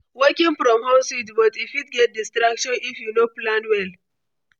Working from home sweet, but e fit get distraction if you no plan well.